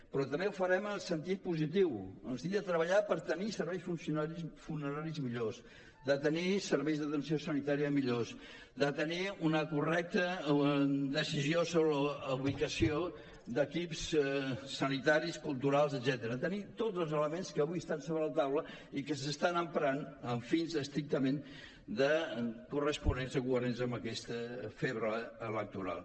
però també ho farem en el sentit positiu en el sentit de treballar per tenir serveis funeraris millors de tenir serveis d’atenció sanitària millors de tenir una correcta decisió sobre la ubicació d’equips sanitaris culturals etcètera de tenir tots els elements que avui estan sobre la taula i que s’estan emprant amb fins estrictament corresponents o coherents amb aquesta febre electoral